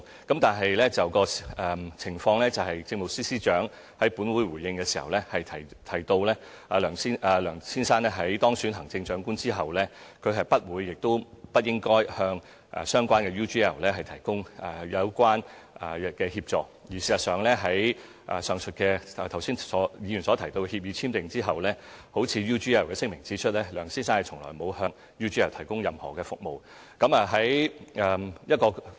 但情況是，政務司司長在本會作出回應的時候，提到梁先生在當選行政長官後，他不會亦不應該向相關公司 UGL 提供有關協助，而事實上，在議員剛才所提到的協議簽訂之後，正如 UGL 的聲明所指，梁先生從來沒有向 UGL 提供任何服務。